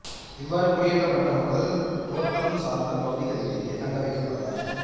இவ்வாறு குடியேற்றப்பட்ட மக்கள் தோட்டம் சார்ந்த பகுதிகளிலேயே தங்க வைக்கப்பட்டார்கள்